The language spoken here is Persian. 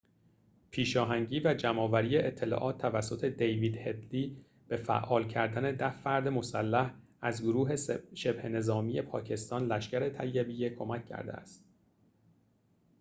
پیشاهنگی و جمع‌آوری اطلاعات توسط دیوید هدلی به فعال کردن ۱۰ فرد مسلح از گروه شبه نظامی پاکستان لشکر طیبه کمک کرده است